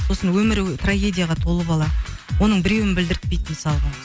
сосын өмірі трагедияға толы бала оның біреуін білдіртпейді мысалға